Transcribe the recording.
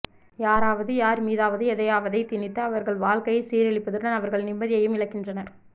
யாராவது யார் மீதாவது எதையாவதை திணித்து அவர்கள் வாழ்க்கையை சீரழிப்பதுடன் அவர்களின் நிம்மதியையும் இழக்கின்றனர்